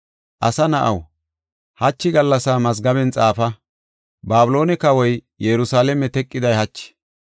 “Asa na7aw, hachi gallas mazgaben xaafa. Babiloone kawoy Yerusalaame teqiday hachi.